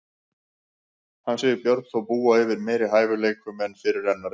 Hann segir Björn þó búa yfir meiri hæfileikum en fyrirrennarinn.